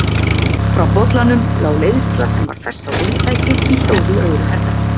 Frá bollanum lá leiðsla sem var fest á viðtæki sem stóð í öðru herbergi.